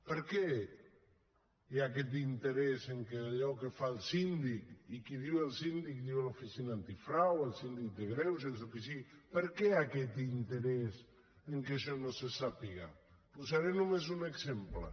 per què hi ha aquest interès en allò que fa el síndic i qui diu el síndic diu l’oficina antifrau el síndic de greuges o qui sigui per què aquest interès en que això no se sàpiga en posaré només un exemple